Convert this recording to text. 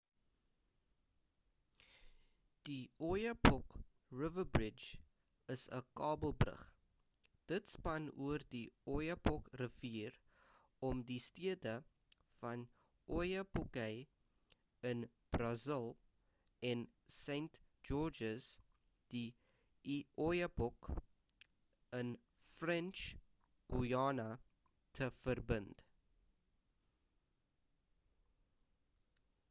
die oyapock river bridge is 'n kabelbrug dit span oor die oyapock rivier om die stede van oiapoque in brazil en saint-georges de l'oyapock in french guiana te verbind